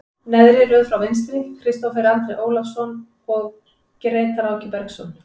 Neðri röð frá vinstri, Kristófer Andri Ólason og Grétar Áki Bergsson.